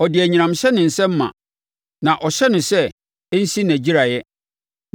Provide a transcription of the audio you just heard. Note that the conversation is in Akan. Ɔde anyinam hyɛ ne nsam ma na ɔhyɛ no sɛ ɛnsi nʼagyiraeɛ.